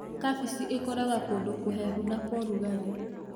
Kabeci ĩkũraga kũndũ kũhehu na kwa ũrugarĩ.